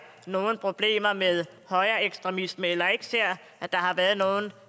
nogen problemer med højreekstremisme eller ikke ser at der har været